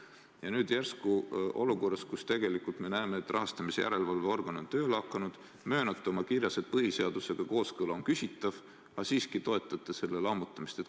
Ja nüüd järsku olukorras, kus me näeme, et rahastamise järelevalve organ on tööle hakanud, te küll möönate oma kirjas, et põhiseadusega kooskõla on küsitav, aga siiski toetate selle komisjoni lammutamist.